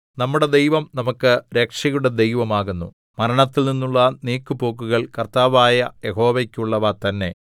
നമ്മുടെ ദൈവം നമുക്ക് രക്ഷയുടെ ദൈവം ആകുന്നു മരണത്തിൽ നിന്നുള്ള നീക്കുപോക്കുകൾ കർത്താവായ യഹോവയ്ക്കുള്ളവ തന്നെ